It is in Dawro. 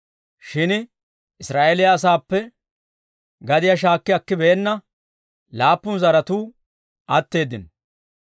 Shin Israa'eeliyaa asaappe gadiyaa shaakki akibeenna laappun zaratuu atteeddino.